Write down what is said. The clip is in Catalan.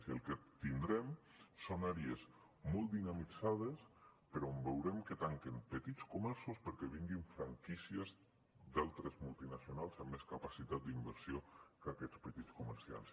i el que tindrem són àrees molt dinamitzades però on veurem que tanquen petits comerços perquè vinguin franquícies d’altres multinacionals amb més capacitat d’inversió que aquests petits comerciants